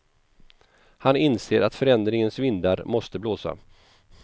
Han inser att förändringens vindar måste blåsa.